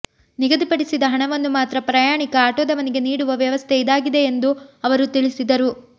ನಿಗದಿಪಡಿಸಿದ ಹಣವನ್ನು ಮಾತ್ರ ಪ್ರಯಾಣಿಕ ಆಟೋದವನಿಗೆ ನೀಡುವ ವ್ಯವಸ್ಥೆ ಇದಾಗಿದೆ ಎಂದು ಅವರು ತಿಳಿಸಿದರು